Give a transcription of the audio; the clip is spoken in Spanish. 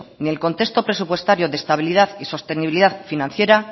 ni el contexto presupuestario de estabilidad y sostenibilidad financiera